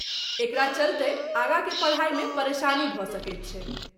एकरा चलतैँ आगाकेँ पढ़ाईमे परेशानी भ सकैत छै।